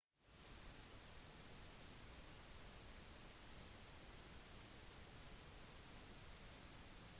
sjåføren pådro seg derimot seriøse hodeskader